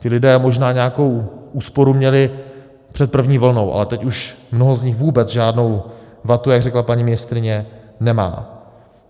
Ti lidé možná nějakou úsporu měli před první vlnou, ale teď už mnoho z nich vůbec žádnou vatu, jak řekla paní ministryně, nemá.